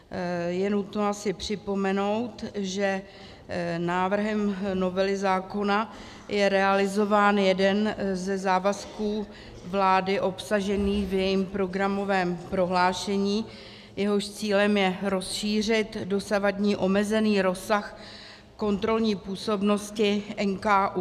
Je nutno si připomenout, že návrhem novely zákona je realizován jeden ze závazků vlády obsažený v jejím programovém prohlášení, jehož cílem je rozšířit dosavadní omezený rozsah kontrolní působnosti NKÚ.